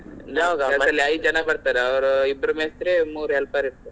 ಜನ ಬರ್ತಾರೆ ಇಬ್ರು ಮೇಸ್ತ್ರಿ ಮೂರೂ helper ಇರ್ತಾರೆ.